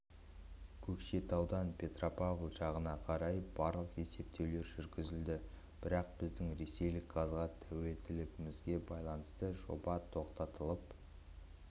көкшетаудан петропавл жағына қарай барлық есептеулер жүргізілді бірақ біздің ресейлік газға тәуелділігімізге байланысты жоба тоқтатылып